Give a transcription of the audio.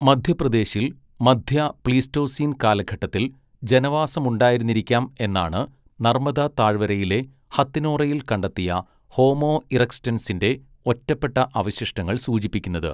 മധ്യപ്രദേശിൽ മധ്യ പ്ലീസ്റ്റോസീൻ കാലഘട്ടത്തിൽ ജനവാസമുണ്ടായിരുന്നിരിക്കാം എന്നാണ് നർമ്മദാ താഴ്വരയിലെ ഹത്‌നോറയിൽ കണ്ടെത്തിയ ഹോമോ ഇറക്റ്റസിൻ്റെ ഒറ്റപ്പെട്ട അവശിഷ്ടങ്ങൾ സൂചിപ്പിക്കുന്നത്.